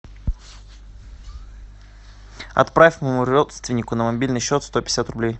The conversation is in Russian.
отправь моему родственнику на мобильный счет сто пятьдесят рублей